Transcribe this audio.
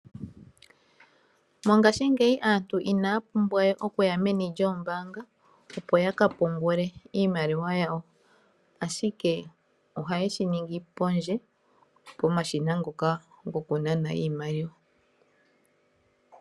Mongashingeyi aantu inaya pumbwa we okuya meni lyoombanga opo ya ka pungule iimaliwa yawo, ihe otaya vulu okulongitha uushina wombaanga mboka wuli pondje okupungula.